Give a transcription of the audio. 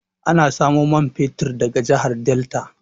Ana samo man fetir daga jahar delta